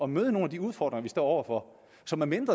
møde nogle af de udfordringer vi står over for så medmindre